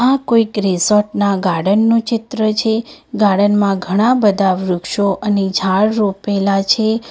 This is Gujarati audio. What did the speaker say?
આ કોઈક રિસોર્ટ ના ગાર્ડન નું ચિત્ર છે ગાર્ડન માં ઘણા બધા વૃક્ષો અને ઝાડ રોપેલા છે.